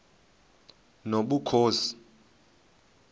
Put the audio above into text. nobukhosi